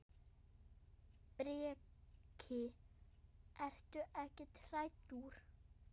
Breki: Ertu ekkert hræddur?